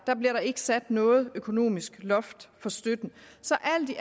bliver der ikke sat noget økonomisk loft for støtten så alt i